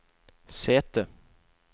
sete